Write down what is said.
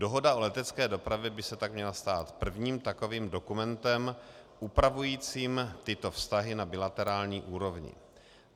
Dohoda o letecké dopravě by se tak měla stát prvním takovým dokumentem upravujícím tyto vztahy na bilaterální úrovni.